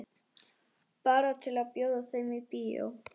Bara til að bjóða þeim í bíó.